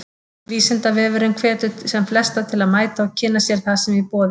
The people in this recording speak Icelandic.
Vísindavefurinn hvetur sem flesta til að mæta og kynna sér það sem í boði er.